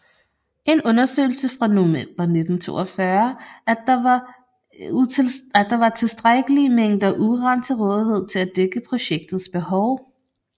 En undersøgelse fra november 1942 at der var tilstrækkelige mængder uran til rådighed til at dække projektets behov